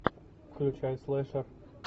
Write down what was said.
включай слэшер